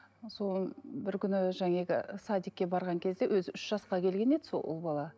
ы бір күні садикке барған кезде өзі үш жасқа келген еді сол ұл бала